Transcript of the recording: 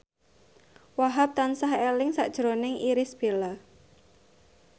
Wahhab tansah eling sakjroning Irish Bella